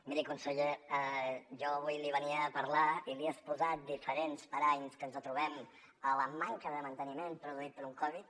miri conseller jo avui li venia a parlar i li he exposat diferents paranys que ens trobem la manca de manteniment produïda per un covid